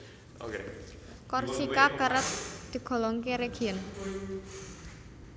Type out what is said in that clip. Korsika kerep digolongké région